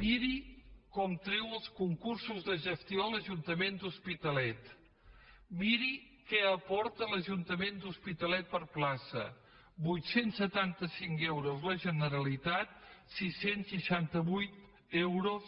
miri com treu els concursos de gestió l’ajuntament de l’hos pitalet miri què aporta l’ajuntament de l’hospitalet per plaça vuit cents i setanta cinc euros la generalitat sis cents i seixanta vuit euros